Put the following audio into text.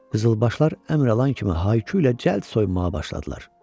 Qızılbaşlar əmr alan kimi hay-küylə cəld soyunmağa başladılar.